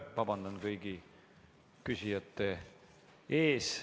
Vabandan kõigi küsijate ees.